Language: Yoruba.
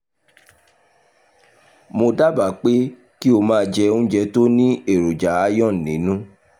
mo dábàá pé kí o máa jẹ oúnjẹ tó ní èròjà iron nínú